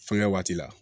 Fɛnkɛ waati la